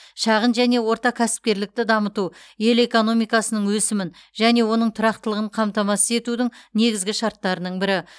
шағын және орта кәсіпкерлікті дамыту ел экономикасының өсімін және оның тұрақтылығын қамтамасыз етудің негізгі шарттарының бірі